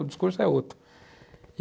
O discurso é outro.